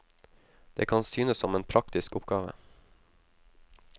Det kan synes som en praktisk oppgave.